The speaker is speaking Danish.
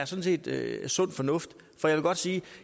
sådan set er sund fornuft og jeg vil godt sige at